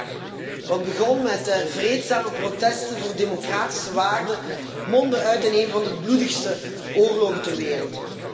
Acht jaar! Wat begon met vreedzame protesten voor democratische waarden, mondde uit in een van de bloedigste oorlogen ter wereld.